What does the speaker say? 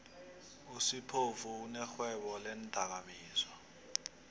usiphou unerhwebo leendakamizwa